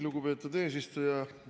Lugupeetud eesistuja!